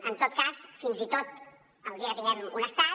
en tot cas fins i tot el dia que tinguem un estat